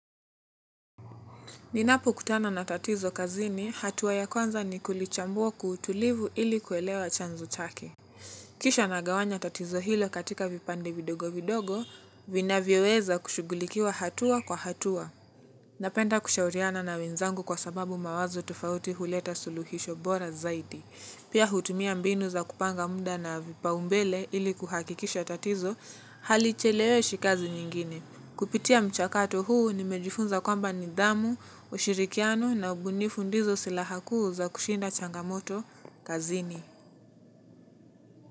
Ninapokutana na tatizo kazini, hatua ya kwanza ni kulichambua kwa utulivu ili kuelewa chanzo chake. Kisha nagawanya tatizo hilo katika vipande vidogo vidogo, vinavyoweza kushughulikiwa hatua kwa hatua. Napenda kushauriana na wenzangu kwa sababu mawazo tofauti huleta suluhisho bora zaidi pia hutumia mbinu ya kupanga muda na vipaumbele ili kuhakikisha tatizo halicheleweshi kazi nyingine. Kupitia mchakato huu nimejifunza kwamba nidhamu, ushirikiano na ubunifu ndizo silaha kuu za kushinda changamoto kazini.